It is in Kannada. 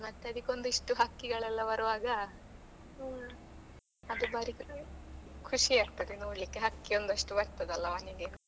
ಮತ್ತೆ ಅದಿಕ್ಕೆ ಒಂದಿಷ್ಟು ಹಕ್ಕಿಗಳು ಎಲ್ಲ ಬರೋವಾಗ ಖುಷಿ ಆಗ್ತದೆ ನೋಡ್ಲಿಕ್ಕೆ ಹಕ್ಕಿ ಒಂದಷ್ಟು ಬರ್ತದಲ್ಲ ಮನೆಗೆ.